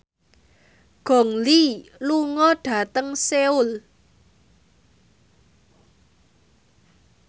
Gong Li lunga dhateng Seoul